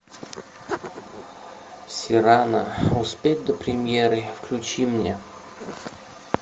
сирано успеть до премьеры включи мне